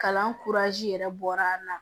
Kalan yɛrɛ bɔra an na